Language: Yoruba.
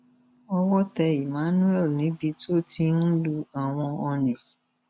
owó tẹ emmanuel níbi tó ti ń lu àwọn ọnì